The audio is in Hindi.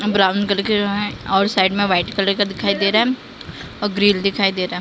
ब्राउन कलर के जो हैं और साइड में व्हाइट कलर का दिखाई दे रहा है और ग्रिल दिखाई दे रहा है ।